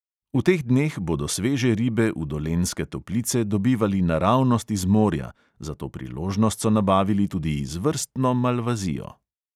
V teh dneh bodo sveže ribe v dolenjske toplice dobivali naravnost iz morja, za to priložnost so nabavili tudi izvrstno malvazijo.